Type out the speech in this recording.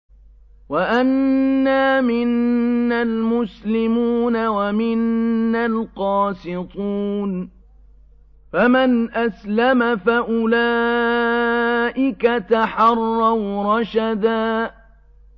وَأَنَّا مِنَّا الْمُسْلِمُونَ وَمِنَّا الْقَاسِطُونَ ۖ فَمَنْ أَسْلَمَ فَأُولَٰئِكَ تَحَرَّوْا رَشَدًا